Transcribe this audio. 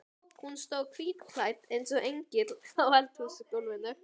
Hún stóð hvítklædd eins og engill á eldhúsgólfinu.